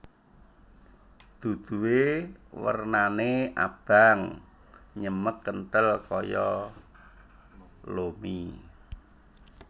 Duduhe wernane abang nyemek kenthel kaya lo mie